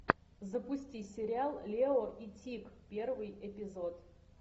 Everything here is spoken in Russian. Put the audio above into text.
запусти сериал лео и тиг первый эпизод